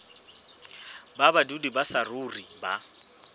ba badudi ba saruri ba